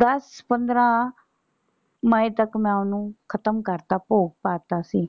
ਦੱਸ ਪੰਦਰਾਂ ਮਏ ਤੱਕ ਮੈਂ ਓਹਨੂੰ ਖਤਮ ਕਰਤਾ ਭੋਗ ਪਾਤਾ ਸੀ।